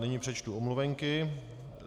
Nyní přečtu omluvenky.